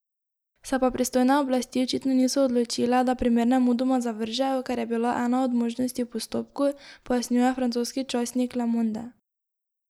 Se pa pristojne oblasti očitno niso odločile, da primer nemudoma zavržejo, kar je bila ena od možnosti v postopku, pojasnjuje francoski časnik Le Monde.